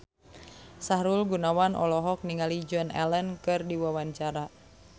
Sahrul Gunawan olohok ningali Joan Allen keur diwawancara